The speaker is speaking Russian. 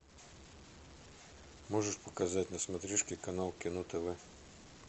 можешь показать на смотрешке канал кино тв